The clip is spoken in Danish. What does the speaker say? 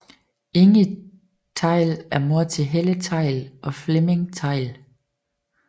Inge Theil er mor til Helle Theil og Flemming Theil